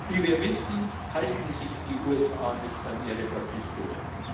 Wie wir wissen, halten sich die USA nicht an ihre Verpflichtungen.